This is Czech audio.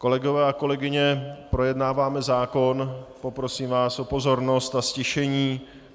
Kolegové a kolegyně, projednáváme zákon, poprosím vás o pozornost a ztišení.